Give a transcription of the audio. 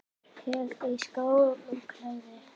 Hellið í skál og kælið.